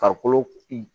Farikolo